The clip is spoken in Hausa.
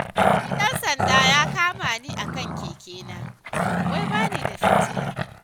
Wani ɗan sanda ya kama ni akan kekena, wai bani da fitila.